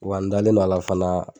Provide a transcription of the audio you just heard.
Wa n dalen no a la fana